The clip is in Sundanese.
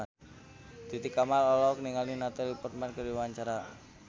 Titi Kamal olohok ningali Natalie Portman keur diwawancara